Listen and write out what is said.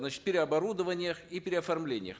значит переоборудованиях и переоформлениях